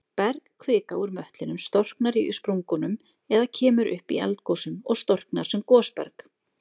Bergkvika úr möttlinum storknar í sprungunum eða kemur upp í eldgosum og storknar sem gosberg.